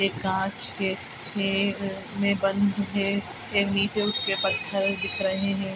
ये कांच के घेरे अ में बंद है ये नीचे उसके पत्थर दिख रहे हैं।